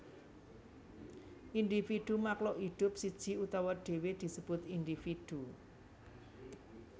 Individu Makhluk hidup siji utawa dhewe disebut individu